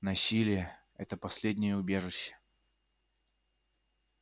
насилие это последнее убежище